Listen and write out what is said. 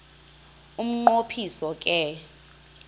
umnqo phiso ke